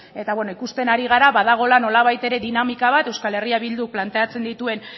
eta bueno ikusten ari gara badagoela nolabait ere dinamika bat euskal herria bilduk planteatzen dituen